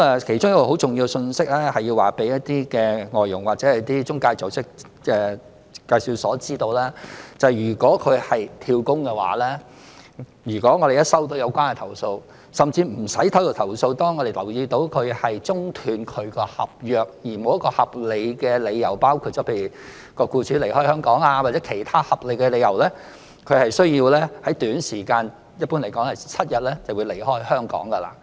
其中一個很重要的信息，是要讓外傭或中介組織、介紹所知道，如果有外傭"跳工"的話，只要我們接獲有關投訴，甚或無須接獲投訴，只要我們留意到有外傭中斷其合約，而沒有一個合理的理由，例如僱主離開香港，或其他合理的理由，他/她便需要在短時間內離開香港。